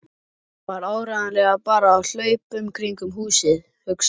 Það var áreiðanlega bara af hlaupunum kringum húsið, hugsaði